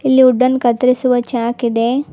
ಇಲ್ಲಿ ವುಡ್ ಅನ್ನು ಕತ್ತರಿಸುವ ಚಾಕಿದೆ.